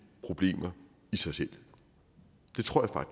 problemer i sig selv det tror